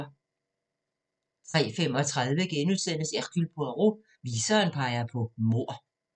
03:35: Hercule Poirot: Viseren peger på mord *